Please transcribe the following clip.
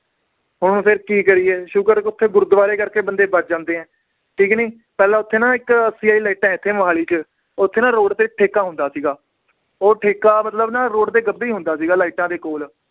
ਹੁਣ ਫਿਰ ਕੀ ਕਰੀਏ ਸ਼ੁਕਰ ਓਥੇ ਗੁਰਦਵਾਰੇ ਕਰਕੇ ਬੰਦੇ ਬਚ ਜਾਂਦੇ ਏ ਠੀਕ ਨੀ ਪਹਿਲਾਂ ਓਥੇ ਨਾ ਇਕ ਲਾਇਟਾਂ ਹੈ ਇੱਥੇ ਮੋਹਾਲੀ ਚ ਓਥੇ ਨਾ road ਤੇ ਇਕ ਠੇਕਾ ਹੁੰਦਾ ਸੀਗਾ ਉਹ ਠੇਕਾ ਮਤਲਬ ਨਾ road ਦੇ ਗੱਬੇ ਈ ਹੁੰਦਾ ਸੀਗਾ ਲਾਈਟਾਂ ਦੇ ਕੋਲ